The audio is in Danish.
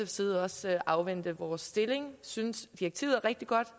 side også afvente vores stillingtagen synes direktivet er rigtig godt